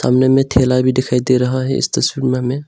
ठेला भी दिखाई दे रहा है इस तस्वीर में हमें।